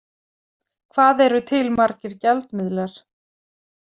Hvað eru til margir gjaldmiðlar?